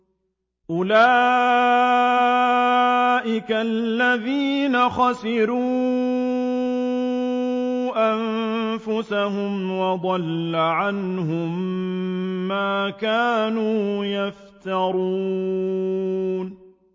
أُولَٰئِكَ الَّذِينَ خَسِرُوا أَنفُسَهُمْ وَضَلَّ عَنْهُم مَّا كَانُوا يَفْتَرُونَ